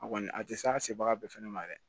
A kɔni a tɛ se a ka se baga bɛɛ fɛnɛ ma dɛ